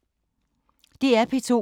DR P2